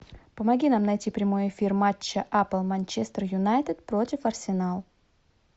помоги нам найти прямой эфир матча апл манчестер юнайтед против арсенал